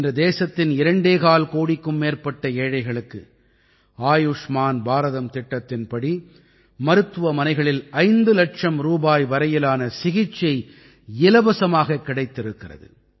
இன்று தேசத்தின் இரண்டேகால் கோடிக்கும் மேற்பட்ட ஏழைகளுக்கு ஆயுஷ்மான் பாரதம் திட்டத்தின்படி மருத்துவமனைகளில் ஐந்து இலட்சம் ரூபாய் வரையிலான சிகிச்சை இலவசமாகக் கிடைத்திருக்கிறது